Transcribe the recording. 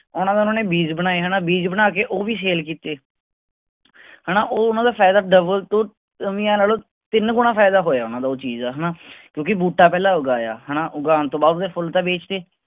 ਓਹਨਾ ਦਾ ਓਹਨਾ ਨੇ ਬੀਜ ਬਣਾਏ ਹੈਨਾ ਬੀਜ ਬਣਾ ਕੇ ਉਹ ਵੀ ਕਿੱਤੇ ਹੈਨਾ ਉਹ ਮਤਲਬ ਫਾਇਦਾ ਤੋਂ ਤਿੰਨ ਗੁਣਾ ਫਾਇਦਾ ਹੋਇਆ ਉਹਨਾਂ ਦਾ ਉਹ ਚੀਜ਼ ਦਾ ਹੈਨਾ ਕਿਉਂਕਿ ਬੂਟਾ ਪਹਿਲਾ ਉਗਾਇਆ ਹੈਨਾ ਉਗਾਉਣ ਤੋਂ ਬਾਅਦ ਓਹਦੇ ਫੁੱਲ ਤਾਂ ਬੇਚ ਤੇ